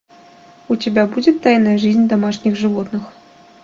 у тебя будет тайная жизнь домашних животных